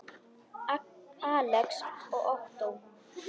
Alex og Ottó.